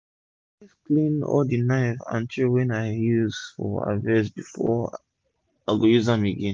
i always clean all d knife and tray wey i use for harvest before i go use am again